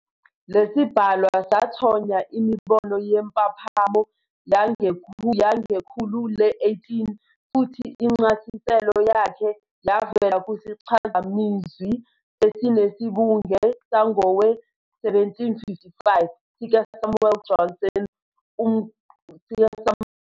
Lesibhalwa sathonya imibono yempaphamo yangekhulu le-18, futhi incasiselo yakhe yavela kusichazamazwi esinesibunge sangowe-1755 sika Samuel Johnson. Umqulu wonyaka we-1753 weNgqoqelolwazi yesifulentshi uchasisa impaphamo ngokuthi "uvo noma umuzwa wangaphakathi esiba nawo ngalokho esikwenzeyo."